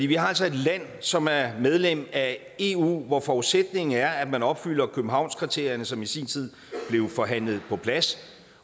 vi har altså et land som er medlem af eu hvor forudsætningen er at man opfylder københavnskriterierne som i sin tid blev forhandlet på plads